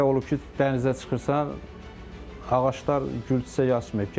Elə olub ki, dənizə çıxırsan, ağaclar gül-çiçək açmayıb.